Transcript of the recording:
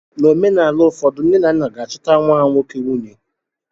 N'omenaala ụfọdụ, nne na nna ga-achọtara nwa ha nwoke nwunye.